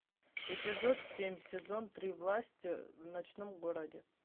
эпизод семь сезон три власть в ночном городе